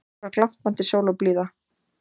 Hér var glampandi sól og blíða